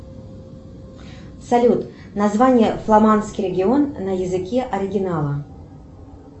салют название фламандский регион на языке оригинала